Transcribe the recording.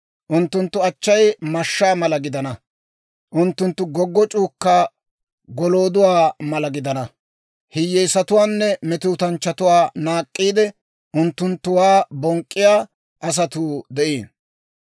Unttunttu achchay mashshaa mala gidina, unttunttu goggoc'c'uukka golooduwaa mala gidina, hiyyeesatuwaanne metootanchchatuwaa naak'k'iide, unttunttuwaa bonk'k'iyaa asatuu de'iino.